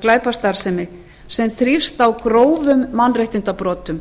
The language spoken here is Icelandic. glæpastarfsemi sem þrífst á grófum mannréttindabrotum